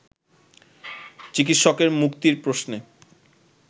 চিকিৎসকের মুক্তির প্রশ্নে